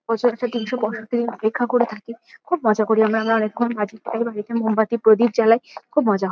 বছরে যে তিনশো পঁয়ষট্টি দিন অপেক্ষা করে থাকি। খুব মজা করি আমরা। আমরা অনেকক্ষন বাজি ফাটাই বাড়িতে মোমবাতি প্রদীপ জ্বালাই। খুব মজা হ --